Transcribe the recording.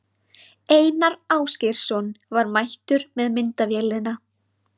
Einar Ásgeirsson var mættur með myndavélina.